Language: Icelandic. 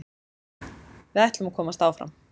Við ætlum að komast áfram.